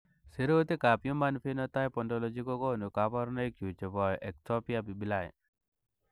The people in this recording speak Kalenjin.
Sirutikab Human Phenotype Ontology kokonu koborunoikchu chebo Ectopia pupillae.